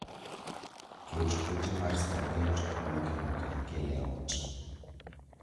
Ket ote mar spaget kuwuok eduka ikel eot